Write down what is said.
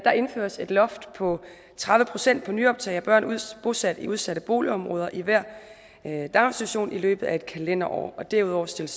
indføres et loft på tredive procent på nyoptag af børn bosat i udsatte boligområder i hver daginstitution i løbet af et kalenderår derudover stilles